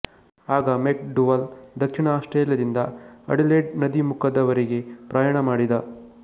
ಆಗ McDouall ದಕ್ಷಿಣ ಆಸ್ಟ್ರೇಲಿಯದಿಂದ ಅಡಿಲೇಡ್ ನದೀಮುಖದವರೆಗೆ ಪ್ರಯಾಣ ಮಾಡಿದ